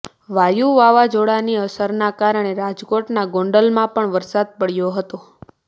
વાયુ વાવઝોડાની અસરના કારણે રાજકોટના ગોંડલમાં પણ વરસાદ પડ્યો હતો